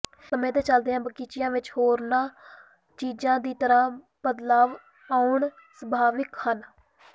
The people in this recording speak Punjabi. ਸਮੇਂ ਦੇ ਚਲਦਿਆਂ ਬਗੀਚੀਆਂ ਵਿਚ ਹੋਰਨਾਂ ਚੀਜ਼ਾਂ ਦੀ ਤਰ੍ਹਾਂ ਬਦਲਾਅ ਆਉਣੇ ਸੁਭਾਵਿਕ ਹਨ